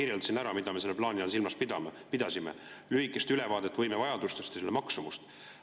Ma kirjeldasin ära, mida me selle plaani all silmas pidasime – lühikest ülevaadet võimevajadustest ja selle maksumust.